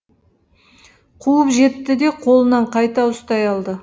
қуып жетті де қолынан қайта ұстай алды